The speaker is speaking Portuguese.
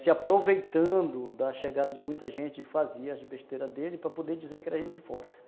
se aproveitando da chegada de muita gente e fazia as besteiras dele, para poder dizer que era gente de fora.